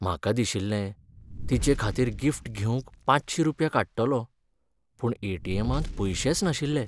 म्हाका दिशिल्लें तिचेखातीर गिफ्ट घेवंक पांचशी रुपया काडटलों, पूण ए टी एमांत पयशेच नाशिल्ले.